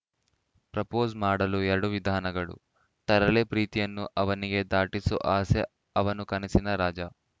propose ಮಾಡಲು ವಿಧಾನಗಳು ತರಲೆ ಪ್ರೀತಿಯನ್ನು ಅವನಿಗೆ ದಾಟಿಸೋ ಆಸೆ ಅವನು ಕನಸಿನ ರಾಜ